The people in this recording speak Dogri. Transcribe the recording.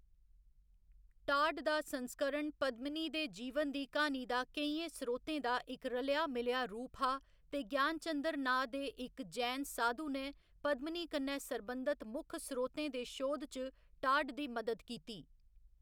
टाड दा संस्करण पद्मिनी दे जीवन दी क्हानी दा केइयें स्रोतें दा इक रलेआ मिलेआ रूप हा ते ज्ञानचंद्र नांऽ दे इक जैन साधु ने पद्मिनी कन्नै सरबंधत मुक्ख स्रोतें दे शोध च टाड दी मदद कीती।